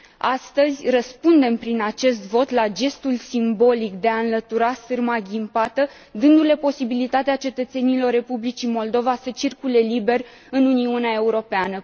Astăzi, răspundem prin acest vot la gestul simbolic de a înlătura sârma ghimpată, dându le posibilitatea cetățenilor Republicii Moldova să circule liber în Uniunea Europeană.